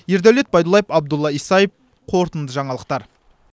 ердәулет байдуллаев абдулла исаев қорытынды жаңалықтар